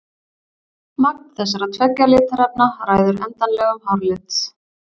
Magn þessara tveggja litarefna ræður endanlegum hárlit.